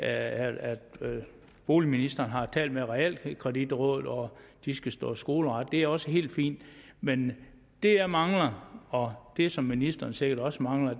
at boligministeren har talt med realkreditrådet og at de skal stå skoleret det er også helt fint men det jeg mangler og det som ministeren sikkert også mangler